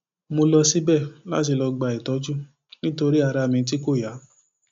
mo lọ síbẹ láti lọọ gba ìtọjú nítorí ara mi tí kò yá